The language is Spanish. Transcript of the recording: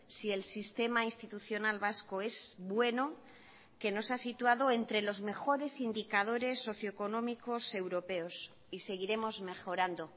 si el sistema institucional vasco es bueno que nos ha situado entre los mejores indicadores socioeconómicos europeos y seguiremos mejorando